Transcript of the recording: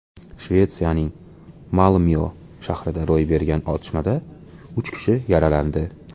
Shvetsiyaning Malmyo shahrida ro‘y bergan otishmada uch kishi yaralandi.